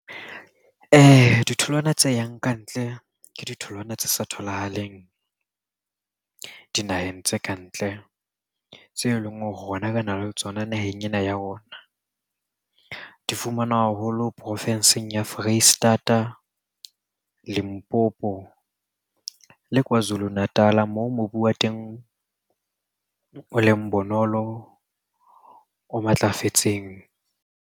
Ditholwana tse yang kantle ke ditholwana tse sa tholahaleng dinaheng tse ka ntle tse leng hore rona re na le tsona naheng ena ya rona. Di fumanwa haholo porofenseng ya Foreisetata, Limpopo le Kwazulu Natal-a moo mobu wa teng o leng bonolo, o matlafetseng.